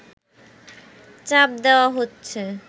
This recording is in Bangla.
চাপ দেওয়া হচ্ছে